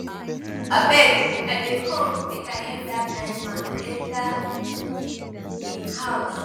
abeg i dey come make i help dat blind man enter im house.